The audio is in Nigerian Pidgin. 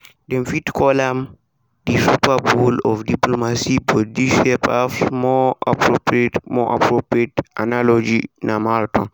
dem fit call am di super bowl of diplomacy but dis year perhaps more appropriate more appropriate analogy na marathon.